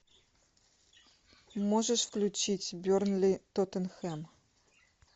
можешь включить бернли тоттенхэм